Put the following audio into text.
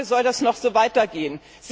Wie lange soll das noch so weitergehen?